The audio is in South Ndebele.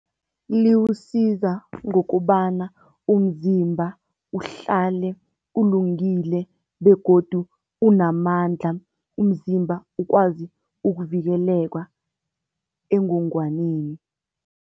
Likusiza ngokobana umzimba uhlale ulungile begodu unamandla. Umzimba ukwazi ukuvikeleka engogwaneni.